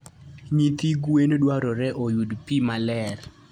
Nyithi gwen dwarore oyud pi maler.